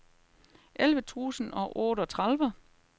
elleve tusind og otteogtredive